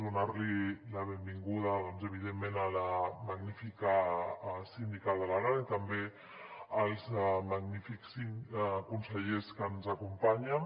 donar la benvinguda doncs evidentment a la magnífica síndica d’aran i també als magnífics consellers que ens acompanyen